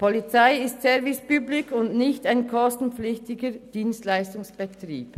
Polizei ist Service public und nicht ein kostenpflichtiger Dienstleistungsbetrieb.